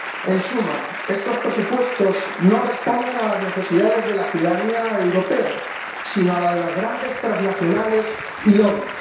En suma, estos presupuestos no responden a las necesidades de la ciudadanía europea, sino a la de las grandes transnacionales y lobbies